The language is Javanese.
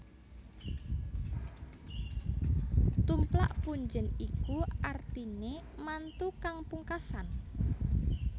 Tumplak punjèn iku artiné mantu kang pungkasan